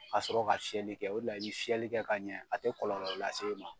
Ka sɔrɔ ka fiyɛli kɛ o de la i bɛ fiyɛli kɛ ka ɲɛ a tɛ kɔlɔlɔ lase i ma.